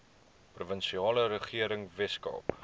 provinsiale regering weskaap